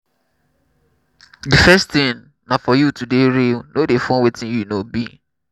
the first thing na for you to dey real no dey form wetin you no be